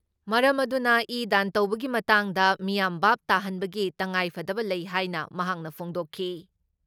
ꯃꯔꯝ ꯑꯗꯨꯅ ꯏ ꯗꯥꯟ ꯇꯧꯕꯒꯤ ꯃꯇꯥꯡꯗ ꯃꯤꯌꯥꯝ ꯚꯥꯕ ꯇꯥꯍꯟꯕꯒꯤ ꯇꯉꯥꯏꯐꯗꯕ ꯂꯩ ꯍꯥꯏꯅ ꯃꯍꯥꯛꯅ ꯐꯣꯡꯗꯣꯛꯈꯤ ꯫